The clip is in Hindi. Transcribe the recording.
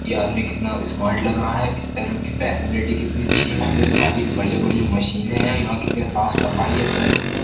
ये आदमी कितना स्मार्ट लग रहा है इस सैलून की फैशनलिटी कितनी अच्छी है कितनी सारी बढ़िया-बढ़िया मशीनें हैं यहाँ कितनी साफ सफाई है सैलून में।